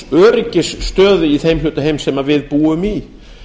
á öryggisstöðu í þeim hluta heims sem við búum í